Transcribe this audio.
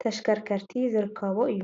ተሽከርከርቲ ዝርከቦ እዩ፡፡